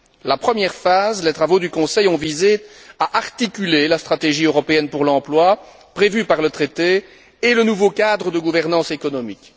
La première phase, les travaux du Conseil ont visé à articuler la stratégie européenne pour l'emploi prévue par le traité et le nouveau cadre de gouvernance économique.